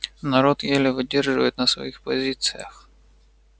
народ еле выдерживает на своих позициях